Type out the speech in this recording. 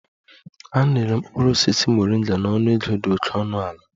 A na-ere mkpụrụ osisi Moringa na ọnụego dị oke ọnụ ala